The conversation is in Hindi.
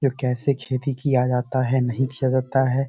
ये कैसे खेती किया जाता है नहीं किया जाता है।